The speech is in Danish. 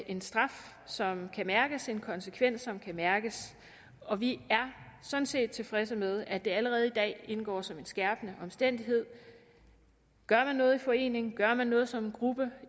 en straf som kan mærkes en konsekvens som kan mærkes og vi er sådan set tilfredse med at det allerede i dag indgår som en skærpende omstændighed gør man noget i forening gør man noget som gruppe